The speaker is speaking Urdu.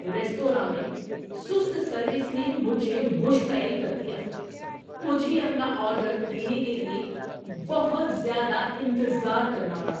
ریستوراں میں سست سروس نے مجھے مشتعل کر دیا۔ مجھے اپنا آرڈر دینے کے لیے بہت زیادہ انتظار کرنا پڑا!